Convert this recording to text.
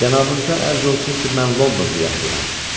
Cənabınıza ərz olsun ki, mən Londonda yaşayıram.